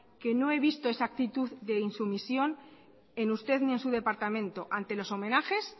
que no he visto esa actitud de insumisión en usted ni en su departamento ante los homenajes